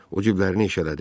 O ciblərin eşələdi.